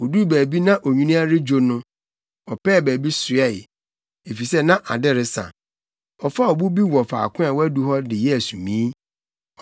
Oduu baabi na onwini redwo no, ɔpɛɛ baabi soɛe, efisɛ na ade resa. Ɔfaa ɔbo bi wɔ faako a wadu hɔ de yɛɛ sumii.